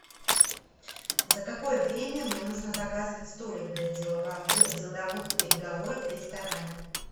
за какое время мне нужно заказывать столик для деловых переговоров в ресторане